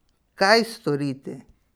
Kaj storiti?